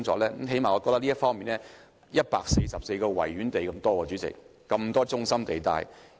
主席，本港的軍事用地佔地有144個維多利亞公園之多，而且都在中心地帶。